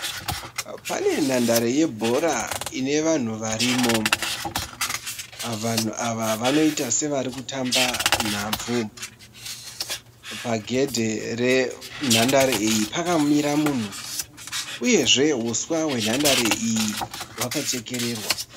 Pane nhandare yebhora inevanhu varimo. Vanhu ava vanoita sevarikutamba nhabvu. Pagedhe renhandare iyi pakamira munhu uyezve huswa hwenhandare iyi hwakachekererwa.